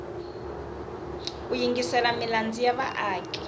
ku yingisela milandzu ya vaaki